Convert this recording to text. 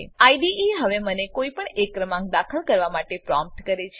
IDE હવે મને કોઈપણ એક ક્રમાંક દાખલ કરવા માટે પ્રોમ્પ્ટ કરે છે